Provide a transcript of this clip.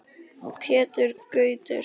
Pétur Gautur.